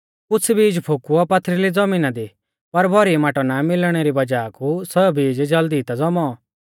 कुछ़ बीज फोकुऔ पथरिल़ी ज़मीना दी पर भौरी माटौ ना मिलणै री वज़ाह कु सौ बीज ज़ल्दी ता ज़ौमौ